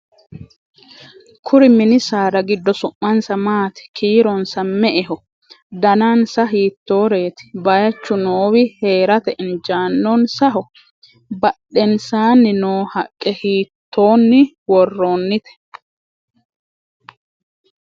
kuri mini saada giddo su'mansa maati? kiironsano me"eho? danansa hiittooreeti? bayeechu noowi heerate injiinonsaho? badhensaanni noo haqqe hiittooonni worroonnite ?